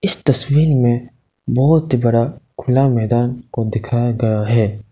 इस तस्वीर में बहोत ही बड़ा खुला मैदान को दिखाया गया है।